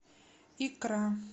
икра